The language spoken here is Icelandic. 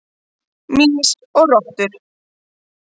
Mýs og rottur.